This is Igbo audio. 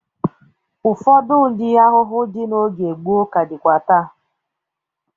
Ụfọdụ ụdị ahụhụ dị n'oge gboo ka dịkwa taa.